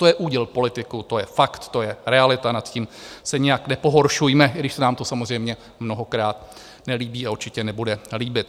To je úděl politiků, to je fakt, to je realita, nad tím se nijak nepohoršujme, i když se nám to samozřejmě mnohokrát nelíbí a určitě nebude líbit.